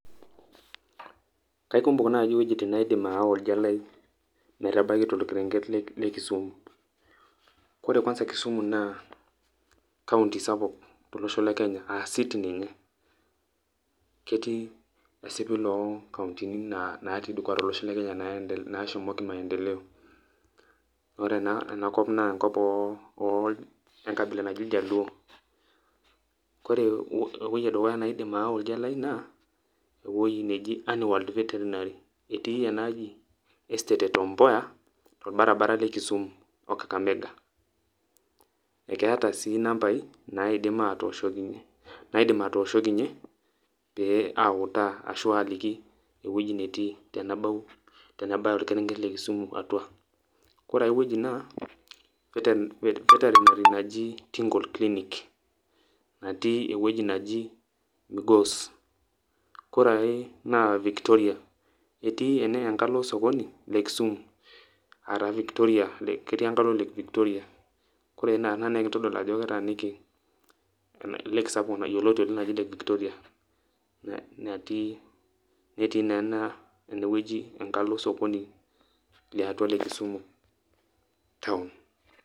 Kaikumok naai iwuejitin naidim aawa oldia lai metabaki torkerenge le Kisumu ore kwanza Kisumu naa County sapuk tolosho le Kenya aa city ninye, ketii esipil onkauntini naatii dukuya tolosho le Kenya naashomoki maendeleo ore enakop naa enkop enkabila oljaluo ore ewueji edukuya naidim aawa oldia lai naa ewueji naji animal veterinary etii ina aji estate e Tom Mboya torbaribara le Kisumu o Kakamega ekeeta sii nambai naidim aatoshokinyie pee autaa ashu aidim aatoliki ewueji netii tenabaya orkerenget le Kisumu atua. Ore ake etii ina naa ketii enaji tingle clinic natii enkalo osokoni le Kisumu embata e Lake Victoria kore ina naa kitodolu ajo ketaaniki lake sapuk oji Victoria netii naa ena inewueji enkalo Kisumu town.